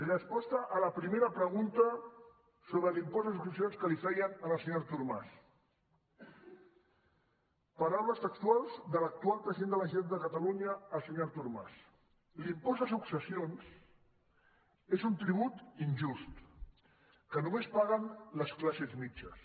resposta a la primera pregunta sobre l’impost de successions que li feien al senyor artur mas paraules textuals de l’actual president de la generalitat el senyor artur mas l’impost de successions és un tribut injust que només paguen les classes mitjanes